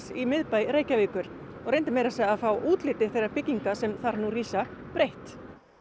í miðbæ Reykjavíkur og reyndi meira að segja að fá útliti þeirra bygginga sem hér rísa breytt